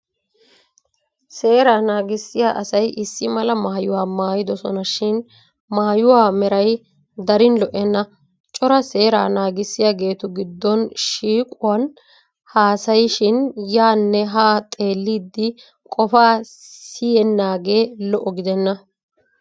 Seeraa naagissiya asay issi mala mayuwa mayidosonashin maayuwa meray darin lo'enna. Cora seeraa naagissiyageetu giddon shiiquwan haasayishin yaanne haa xeellidi qofaa siyennaagee lo'o gidenna.